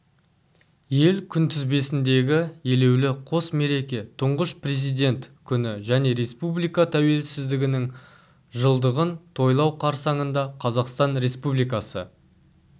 ел күнтізбесіндегі елеулі қос мереке тұңғыш президент күні және республика тәуелсіздігінің жылдығын тойлау қарсаңында қазақстан республикасы